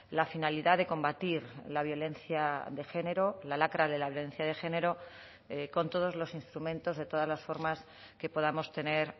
la finalidad de combatir la violencia de género la lacra de la violencia de género con todos los instrumentos de todas las formas que podamos tener